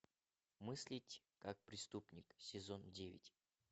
мыслить как преступник сезон девять